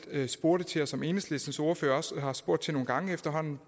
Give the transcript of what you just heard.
spurgte til og som enhedslistens ordfører også har spurgt til nogle gange efterhånden